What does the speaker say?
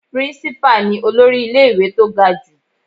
Principal ni olórí ilé ìwé tó ga jù.